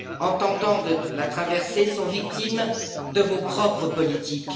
en tentant la traversée sont victimes de vos propres politiques?